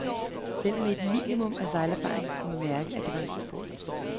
Selv med et minimum af sejlerfaring kunne man mærke, at det er en god båd.